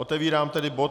Otevírám tedy bod